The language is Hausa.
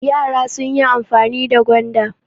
Yara sun yi amfani da gwanda.